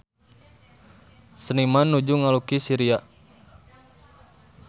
Seniman nuju ngalukis Syria